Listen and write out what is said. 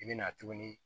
I bɛ na tuguni